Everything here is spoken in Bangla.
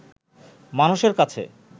মানুষের কাছে